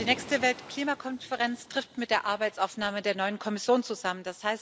Die nächste Weltklimakonferenz fällt mit der Arbeitsaufnahme der neuen Kommission zusammen.